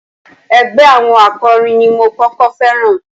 Ẹgbẹ́ àwọn akọrin ni mo kọ́kọ́ féràn.